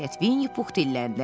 nəhayət Vinnipux dilləndi.